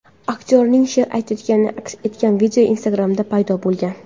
Aktyorning she’r aytayotgani aks etgan video Instagram’da paydo bo‘lgan.